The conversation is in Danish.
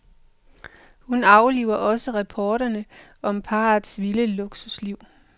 Hun afliver også rapporterne om parrets vilde luksusliv.